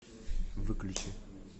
выключи